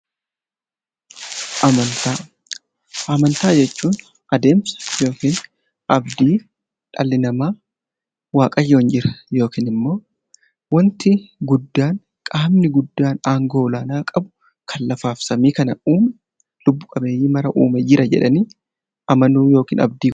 Amantaa jechuun adeemsa abdii dhalli namaa waaqayyo jira yookiin immoo qaamni guddaan aangoo olaanaa qabukan lafaa fi samii kana uume lubbu-qabeeyyii kan hundaa uume jira jedhanii amanuudha.